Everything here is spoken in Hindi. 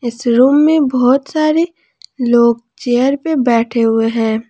इस रूम में बहुत सारे लोग चेयर पे बैठे हुए हैं।